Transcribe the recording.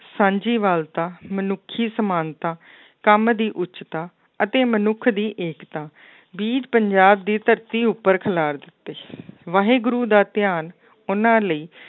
ਸਾਂਝੀ ਵਾਲਤਾ ਮਨੁੱਖੀ ਸਮਾਨਤਾ, ਕੰਮ ਦੀ ਉੱਚਤਾ ਅਤੇ ਮਨੁੱਖ ਦੀ ਏਕਤਾ, ਵੀਰ ਪੰਜਾਬ ਦੀ ਧਰਤੀ ਉੱਪਰ ਖਿਲਾਰ ਦਿੱਤੇ ਸੀ ਵਾਹਿਗੁਰੂ ਦਾ ਧਿਆਨ ਉਹਨਾਂ ਲਈ